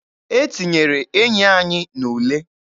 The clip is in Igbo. E tinyere enyi anyị n'ule.